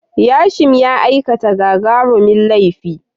Yashim ya aikata gagarumin laifi.